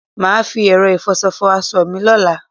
Mà á fi ẹ̀rọ ìfọṣọ fọ aṣọ mi lọ́la.